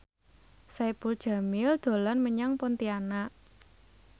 Saipul Jamil dolan menyang Pontianak